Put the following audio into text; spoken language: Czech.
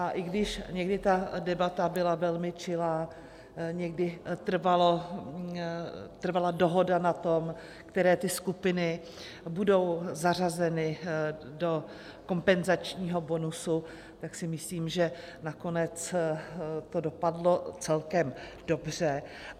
A i když někdy ta debata byla velmi čilá, někdy trvala dohoda na tom, které ty skupiny budou zařazeny do kompenzačního bonusu, tak si myslím, že nakonec to dopadlo celkem dobře.